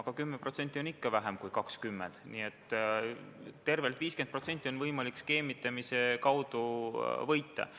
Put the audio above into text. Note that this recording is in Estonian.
Aga 10% on ikka vähem kui 20%, nii et tervelt 50% on võimalik skeemitamise abil võita.